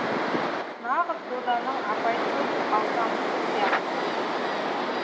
нағыз доданың апайтөс алпамысы сияқты